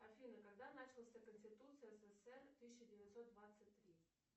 афина когда начался конституция ссср тысяча девятьсот двадцать три